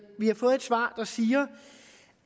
vi har fået et svar der siger